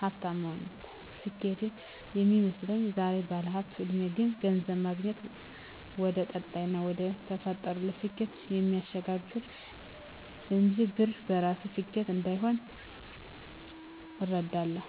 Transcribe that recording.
ሀፍታም መሆን ነበር ስኬት ሚመስለኝ። ዛሬ ባለሁበት እድሜ ግን ገንዘብ ማግኘት ወደቀጣይና ወደተፈጠሩለት ስኬት እሚያሸጋግር እንጅ ብር በራሱ ስኬት እንዳልሆነ እረዳለሁ።